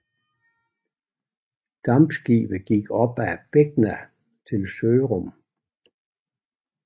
Dampskibet gik op ad Begna til Sørum